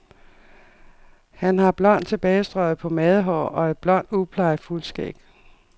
Han har blond, tilbagestrøget pomadehår og et blond, uplejet fuldskæg.